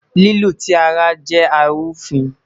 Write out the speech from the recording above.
Lilu ti ara jẹ arufin